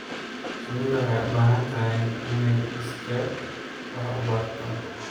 Shinnidu waxay u baahan tahay inay iskeed wax u barto.